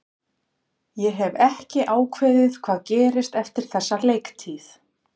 Ég hef ekki ákveðið hvað gerist eftir þessa leiktíð.